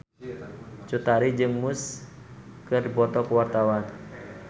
Cut Tari jeung Muse keur dipoto ku wartawan